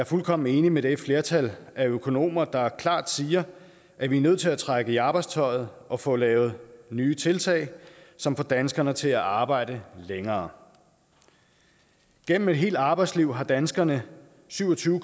fuldkommen enig med det flertal af økonomer der klart siger at vi er nødt til at trække i arbejdstøjet og få lavet nye tiltag som får danskerne til at arbejde længere gennem et helt arbejdsliv har danskerne syv og tyve